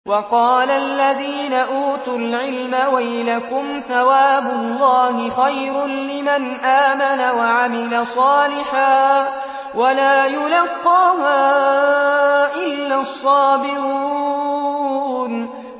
وَقَالَ الَّذِينَ أُوتُوا الْعِلْمَ وَيْلَكُمْ ثَوَابُ اللَّهِ خَيْرٌ لِّمَنْ آمَنَ وَعَمِلَ صَالِحًا وَلَا يُلَقَّاهَا إِلَّا الصَّابِرُونَ